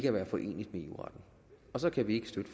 at være foreneligt med eu retten og så kan vi ikke støtte